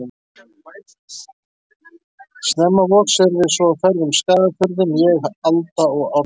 Snemma vors erum við svo á ferð um Skagafjörðinn, ég, Alda og Árni.